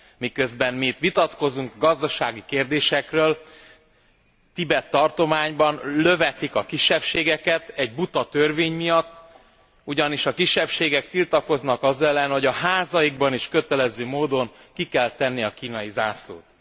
Miközben mi itt vitatkozunk gazdasági kérdésekről, Tibet tartományban lövetik a kisebbségeket egy buta törvény miatt, ugyanis a kisebbségek tiltakoznak az ellen, hogy a házaikban is kötelező módon ki kell tenni a kínai zászlót.